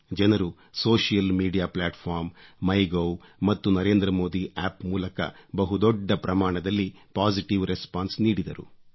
ಜನರು social media platform MyGov ಮತ್ತು Narendra Modi App ಮೂಲಕ ಬಹು ದೊಡ್ಡ ಪ್ರಮಾಣದಲ್ಲಿ ಪೊಸಿಟಿವ್ ರೆಸ್ಪಾನ್ಸ್ ನೀಡಿದರು